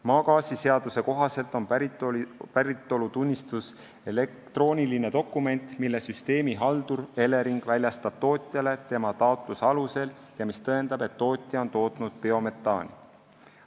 Maagaasiseaduse kohaselt on päritolutunnistus elektrooniline dokument, mille süsteemihaldur Elering väljastab tootjale tema taotluse alusel ja mis tõendab, et tootja on tootnud biometaani.